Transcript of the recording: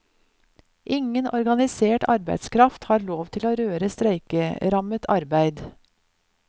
Ingen organisert arbeidskraft har lov til å røre streikerammet arbeid.